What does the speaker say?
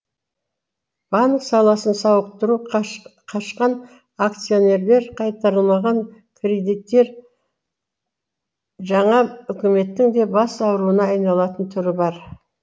банк саласын сауықтыру қашқан акционерлер қайтарылмаған кредиттер жаңа үкіметтің де бас ауруына айналатын түрі бар